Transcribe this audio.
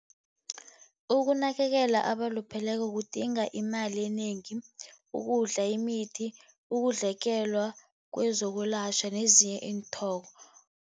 Ukunakelela abalupheleko kudinga imali enengi, ukudla, imithi, kwezokulatjhwa, nezinye